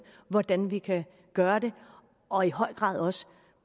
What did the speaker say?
hvordan vi kan gøre det og i høj grad også